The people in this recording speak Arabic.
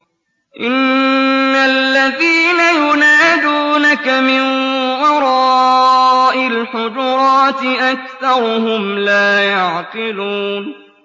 إِنَّ الَّذِينَ يُنَادُونَكَ مِن وَرَاءِ الْحُجُرَاتِ أَكْثَرُهُمْ لَا يَعْقِلُونَ